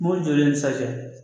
Mobili jɔlen sajɛ